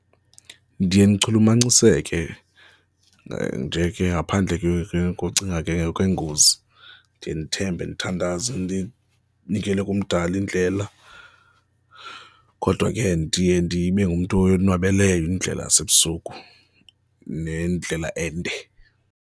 Ndiye ndichulumanciseke nje ke ngaphandle ke ke kocinga ke okwengozi, ndiye ndithembe ndithandaze ndinikele kumdali indlela kodwa ke ndiye ndibe ngumntu oyonwabeleyo indlela yasebusuku nendlela ende.